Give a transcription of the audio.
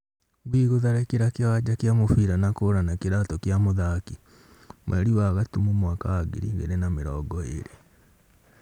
Ngui gutharikira kiwanja kia mubira na kura na kiratu kia muthaki ,mweri wa gatumu mwaka wa ngiri igiri na mirongo iri